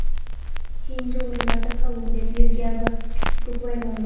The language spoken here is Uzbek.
Keyingi o‘rinlarda Kolumbiya, Belgiya va Urugvay bormoqda.